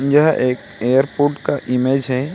यह एक एयरपोर्ट का इमेज है।